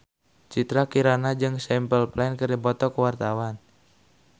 Citra Kirana jeung Simple Plan keur dipoto ku wartawan